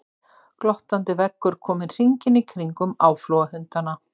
Glottandi veggur kominn hringinn í kringum áflogahundana.